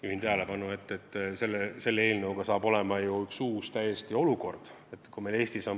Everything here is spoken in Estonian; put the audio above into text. Juhin tähelepanu, et selle eelnõu kohaselt saab meil olema täiesti uus olukord.